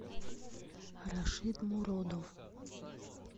рашид муродов